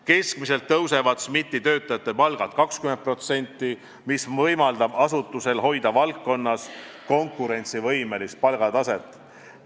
Keskmiselt tõusevad SMIT-i töötajate palgad 20%, mis võimaldab asutusel hoida valdkonnas konkurentsivõimelist palgataset.